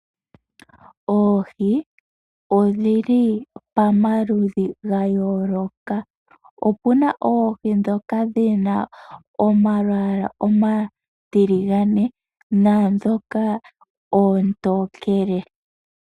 Oohi odhili pamaludhi gayooloka, opuna oohi dhoka dhina omalwaala omatiligane naadhoka oontokele.